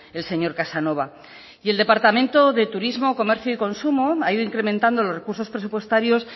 el señor casanova y el departamento de turismo comercio y consumo ha ido incrementando los recursos presupuestarios